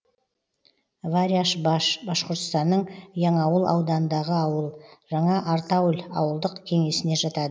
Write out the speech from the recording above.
варяшбаш башқұртстанның яңауыл ауданындағы ауыл жаңа артауль ауылдық кеңесіне жатады